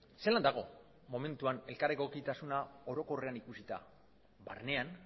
zelan dago momentuan elkar egokitasuna orokorrean ikusita barnean